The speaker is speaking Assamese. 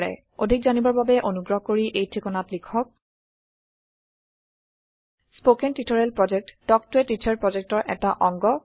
অধিক জানিবৰ বাবে অনুগ্ৰহ কৰি এই ঠিকনাত লিখক contactspoken tutorialorg স্পকেন টিওটৰিয়েলৰ প্ৰকল্প তাল্ক ত a টিচাৰ প্ৰকল্পৰ এটা অংগ